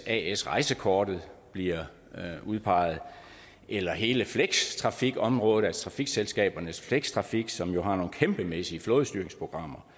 at hvis rejsekortet as bliver udpeget eller hele flextrafikområdet altså trafikselskabernes flextrafik som jo har nogle kæmpemæssige flådestyringsprogrammer